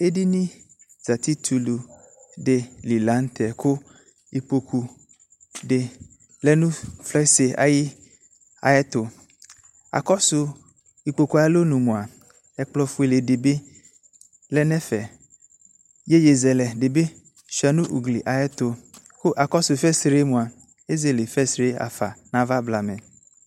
Edini zati tulu de lantɛ ko ikpoku de lɛ no fanse aye, ayeto Akɔso ikpoku alɔnu mia, ɛkplɔ fuele de be lɛ nɛfɛ Yeyezɛlɛ de be sua no ugli ayeto ko akɔso fansre moa ezele fansre yafa nava blama